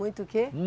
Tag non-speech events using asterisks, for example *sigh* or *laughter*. Muito o quê? *unintelligible*